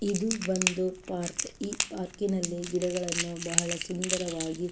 ಇದು ಒಂದು ಪಾರ್ಕ್ ಈ ಪಾರ್ಕ್ ನಲ್ಲಿ ಗಿಡಗಳನ್ನು ಬಹಳ ಸುಂದರವಾಗಿ.